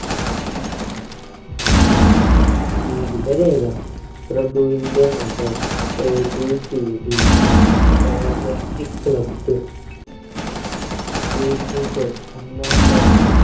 ജീവിത രേഖ പ്രഭുവിന്റെ മകൾ a b c d august club ഒന്നാം ലോക